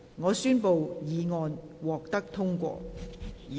我宣布議案獲得通過。